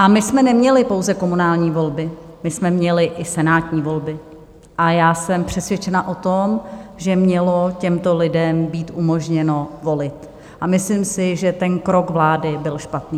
A my jsme neměli pouze komunální volby, my jsme měli i senátní volby, a já jsem přesvědčena o tom, že mělo těmto lidem být umožněno volit, a myslím si, že ten krok vlády byl špatný.